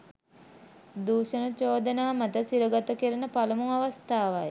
දූෂණ චෝදනා මත සිරගත කෙරෙන පළමු අවස්ථාවයි